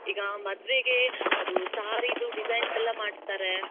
ಈಗಾ ಮದ್ವೆಗೆ ಅದು. saree ದು ಡಿಸೈನ್ಸ್ ಎಲ್ಲಾ ಮಾಡ್ತಾರ .